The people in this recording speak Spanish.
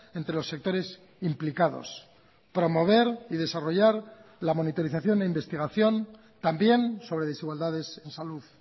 entre los sectores implicados promover y desarrollar la monitorización e investigación también sobre desigualdades en salud